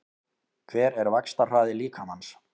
Hver er vaxtarhraði líkamans?